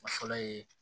A fɔlɔ ye